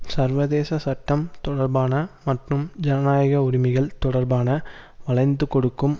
சர்வதேச சட்டம் தொடர்பான மற்றும் ஜனநாயக உரிமைகள் தொடர்பான வளைந்துகொடுக்கும்